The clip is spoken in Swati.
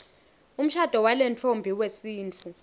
umshado walentfombi wesintfu